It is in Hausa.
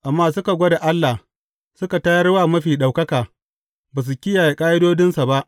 Amma suka gwada Allah suka tayar wa Mafi Ɗaukaka; ba su kiyaye ƙa’idodinsa ba.